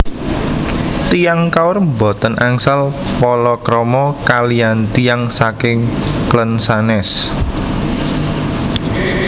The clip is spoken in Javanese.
Tiyang Kaur boten angsal palakrama kaliyan tiyang saking klen sanes